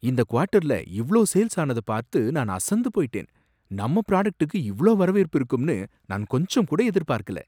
இந்த குவார்ட்டர்ல இவ்ளோ சேல்ஸ் ஆனதப் பார்த்து நான் அசந்து போயிட்டேன், நம்ம ப்ராடக்டுக்கு இவ்ளோ வரவேற்பு இருக்கும்னு நான் கொஞ்சம் கூட எதிர்பார்க்கல.